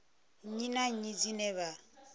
nnyi na nnyi dzine vha